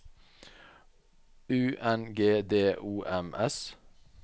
U N G D O M S